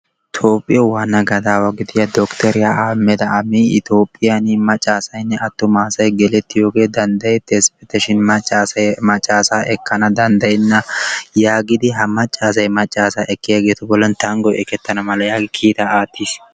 Toophiyaawu waanna gadaawa gidiya Dottoriyaa Ahammadda Abi Itoophphiyan Maccassaynne atumassay gelettiyoogee danddayetees shin maccassay maccasaa ekkana danddayena yaagidi ha maccassay maccaasaa ekkiyageetu tanggoy ekketana mala yaagidi kiitta aattiis.